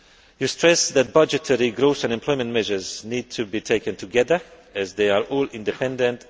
You stress that budgetary, growth and employment measures need to be taken together as they are all interdependent